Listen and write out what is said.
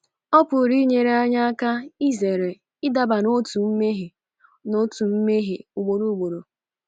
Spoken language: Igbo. Ọ pụrụ inyere anyị aka izere ịdaba n’otu mmehie n’otu mmehie ugboro ugboro.